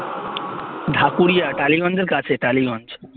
ঢাকুরিয়া টালিগঞ্জের কাছে টালিগঞ্জ